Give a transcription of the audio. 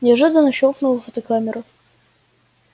неожиданно щёлкнула фотокамера